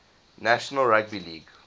national rugby league